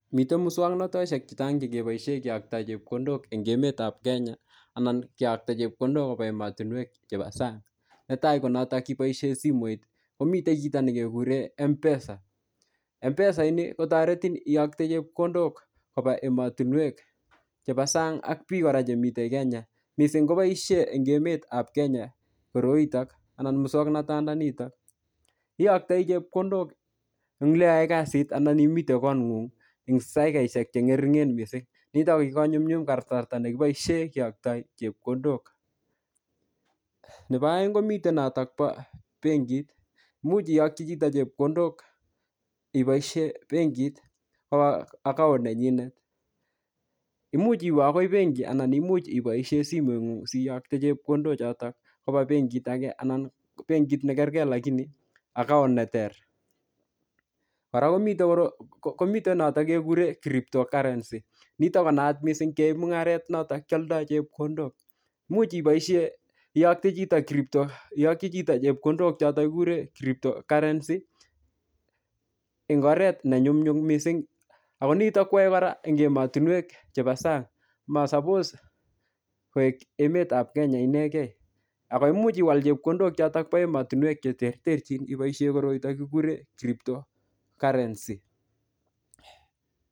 Mitei muswog'notoshek chechang' chekiboishe keyoktoi chepkondok eng' emetab Kenya anan keyokto chepkondok koba emotinwek chebo sang' netai ko notok kiboishe simoit komitei kito nekekure mpesa mpesaini kotoretin iyokte chepkondok koba emotinwek chebo sang' ak biik kora chemiten Kenya mising' koboishe eng' emetab Kenya koroitok anan muswong'natanito iyoktoi chepkondok eng' le iyoe kasit anan imite kong'ung'u eng' daikaishek che ng'ering'en mising' nitok ko kikonyumyum kasarta nekiboishe kiyoktoi chepkondok nebo oeng' komitei notok bo benkit muuch iyokchi chito chepkondok iboishe benkit kowo account nenyinet imuch iwe akoi benki anan imuch iboishe simeng'ung' siyokte chepkondochotok koba benkit age anan benkit nekerker lakini account neter kora komitei notok kekure cryptocurrency nitok konaat mising' keoe mung'aret notok kioldoi chepkondok imuch iboishe iyokchi chito chepkondok chotok kikure cryptocurrency ing' oret nenyumnyum mising' ako nitok kwaei kora eng' emotinwek chebo sang' masapos koek emetab Kenya inegei ako imuch iwal chepkondok chotok bo emotinwek cheterterchin iboishe koroito kikure cryptocurrency